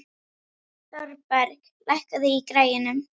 Thorberg, lækkaðu í græjunum.